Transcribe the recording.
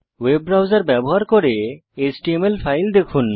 web browser ব্যবহার করে HTML file দেখুন